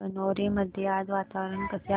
गणोरे मध्ये आज वातावरण कसे आहे